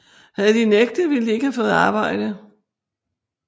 Havde de nægtet ville de ikke have fået arbejde